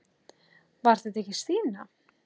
Var þetta ekki Stína?